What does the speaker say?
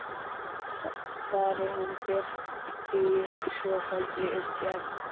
Þar er hún birt í svofelldri umgerð